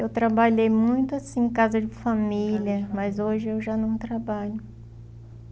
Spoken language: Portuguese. Eu trabalhei muito assim, em casa de família, em casa de família mas hoje eu já não trabalho.